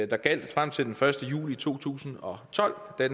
der gjaldt frem til den første juli to tusind og tolv da